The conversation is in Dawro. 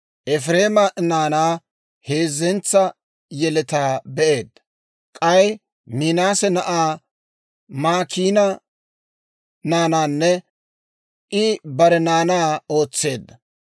Efireema naanaa, heezzentsa yeletaa be'eedda; k'ay Minaase na'aa Maakiina naanaanne I bare naanaa ootseedda.